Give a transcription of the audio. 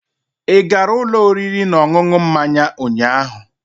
Ị gara ụlọ oriri na ọṅụṅụ mmanya ụnyaahụ?